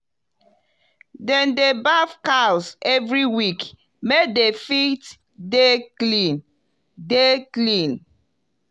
dem dey baff cows every week make dem fit dey clean dey clean